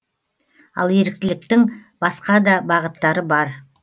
ал еріктіліктің басқа да бағыттары бар